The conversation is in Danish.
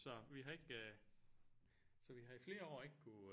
Så vi har ikke øh så vi har i flere år ikke kunne